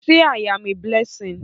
Say I am a blessing!